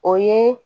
O ye